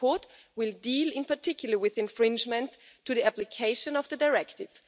The report will deal, in particular, with infringements to the application of the directive.